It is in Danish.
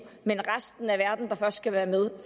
men resten af verden der først skal være med